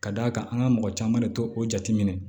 Ka d'a kan an ka mɔgɔ caman de t'o jateminɛ